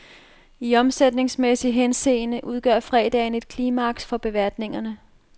I omsætningsmæssig henseende udgør fredagen et klimaks for beværtningerne.